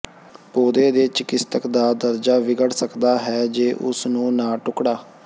ਪੌਦੇ ਦੇ ਚਿਕਿਤਸਕ ਦਾ ਦਰਜਾ ਵਿਗੜ ਸਕਦਾ ਹੈ ਜੇ ਉਸ ਨੂੰ ਨਾ ਟੁਕੜਾ